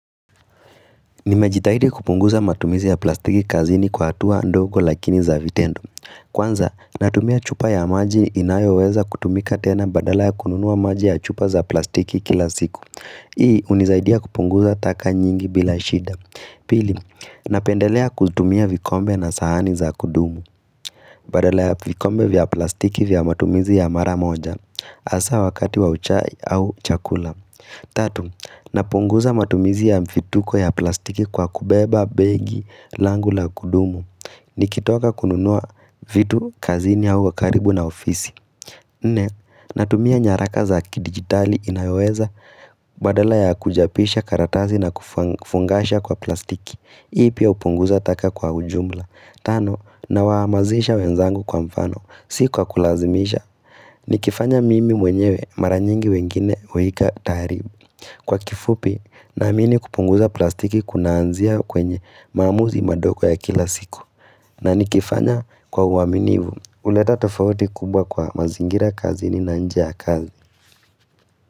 Nimejitahidi kupunguza matumizi ya plastiki kazini kwa hatua ndogo lakini za vitendo. Kwanza, natumia chupa ya maji inayoweza kutumika tena badala ya kununua maji ya chupa za plastiki kila siku. Hii hunisaidia kupunguza taka nyingi bila shida. Pili, napendelea kutumia vikombe na sahani za kudumu. Badala ya vikombe vya plastiki vya matumizi ya maramoja. Hasa wakati wa chai au chakula. Tatu, napunguza matumizi ya mfituko ya plastiki kwa kubeba, begi, langul a kudumu. Nikitoka kununua vitu, kazini au karibu na ofisi. Nne, natumia nyaraka za kidigitali inayoweza badala ya kuchapisha karatasi na kufungasha kwa plastiki. Hii pia hupunguza taka kwa ujumla. Tano, nawahimizisha wenzangu kwa mfano. Si kwa kulazimisha. Nikifanya mimi mwenyewe mara nyingi wengine huwika taaribu. Kwa kifupi, naamini kupunguza plastiki kunaanzia kwenye maamuzi madogo ya kila siku. Na nikifanya kwa uaminifu. Huleta tofauti kubwa kwa mazingira kazini na nje ya kazi.